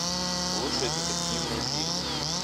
лучшие детективные фильмы